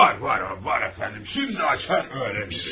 Hə, var, var, var əfəndi, şimdi açar, öyrənmişəm.